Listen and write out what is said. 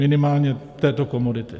Minimálně této komodity.